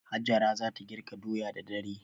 Hajara za ta girka doya da dare.